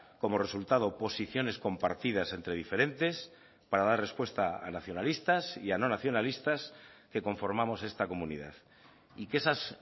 como resultado posiciones compartidas entre diferentes para dar respuesta a nacionalistas y a no nacionalistas que conformamos esta comunidad y que esas